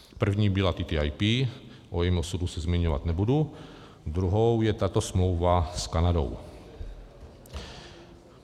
První byla TTIP, o jejím osudu se zmiňovat nebudu, druhou je tato smlouva s Kanadou.